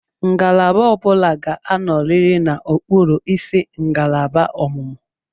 Ngalaba ọ bụla ga-anọrịrị n'okpuru isi ngalaba ọmụmụ.